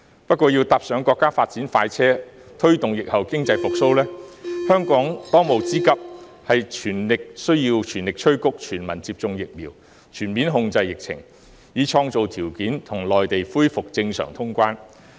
不過，香港要坐上國家發展快車，推動疫後經濟復蘇，當務之急是全力催谷全民接種疫苗，全面控制疫情，以創造條件與內地恢復正常通關。